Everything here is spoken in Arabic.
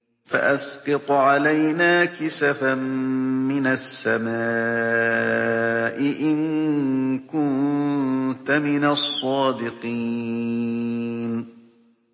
فَأَسْقِطْ عَلَيْنَا كِسَفًا مِّنَ السَّمَاءِ إِن كُنتَ مِنَ الصَّادِقِينَ